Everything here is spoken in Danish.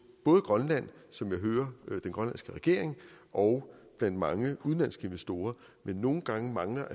både grønland som jeg hører den grønlandske regering og blandt mange udenlandske investorer men nogle gange mangler